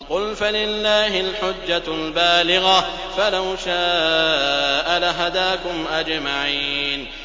قُلْ فَلِلَّهِ الْحُجَّةُ الْبَالِغَةُ ۖ فَلَوْ شَاءَ لَهَدَاكُمْ أَجْمَعِينَ